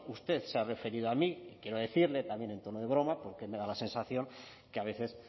usted se ha referido a mí quiero decirle también en tono de broma porque me da la sensación que a veces